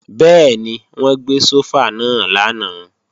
Bẹ́ẹ̀ni, wọ́n gbé sófà náà lánàá